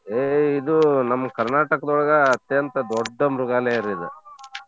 A ಎ ಇದು ನಮ್ Karnataka ದೋಳ್ಗ ಅತ್ಯಂತ ದೊಡ್ಡ ಮೃಗಾಲಯರಿ ಇದ.